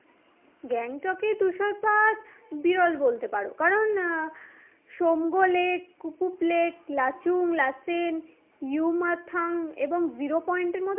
গ্যাংটকে তুষারপাত বিরল বলতে পারো কারণ আহ সমগো লেক, কুপুপ লেক, লাচুং, লাসেন, ইউমাথাং এবং zero point এর মতো